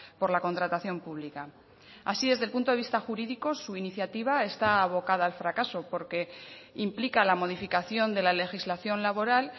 por la contratación pública así desde el punto de vista jurídico su iniciativa está abocada al fracaso porque implica la modificación de la legislación laboral